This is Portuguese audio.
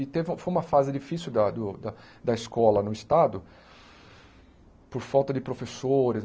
E teve foi uma fase difícil da do da da escola no Estado, por falta de professores.